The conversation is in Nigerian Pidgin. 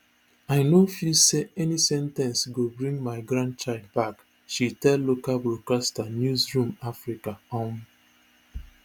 i no feel say any sen ten ce go bring my grandchild back she tell local broadcaster newzroom afrika um